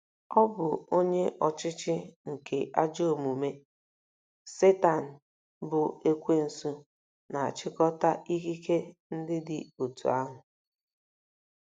Ọ̀ bụ onye ọchịchị nke ajọ omume— Setan bụ́ Ekwensu na-achịkọta ikike ndị dị otú ahụ?